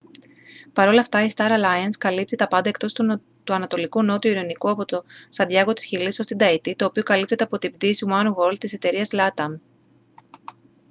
παρόλ' αυτά η star alliance καλύπτει τα πάντα εκτός του ανατολικού νότιου ειρηνικού από το σαντιάγκο της χιλής ως την ταϊτή το οποίο καλύπτεται από την πτήση oneworld της εταιρείας latam